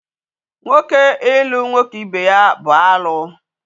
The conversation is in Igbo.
Nwoke ilu nwoke ibe ya bụ alụ